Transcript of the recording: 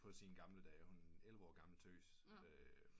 På sine gamle dage hun er en elleve årig gammel tøs